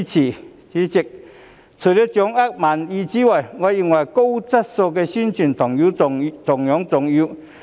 代理主席，除了掌握民意之外，我認為高質素的宣傳同樣重要。